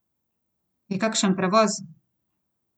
Je kakšen prevoz?